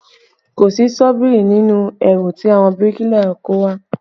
Kò sí ṣọ́bìrì nínú ẹrù tí àwọn bíríkìlà kó wá